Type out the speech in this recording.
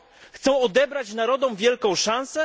Chcą odebrać narodom wielką szansę?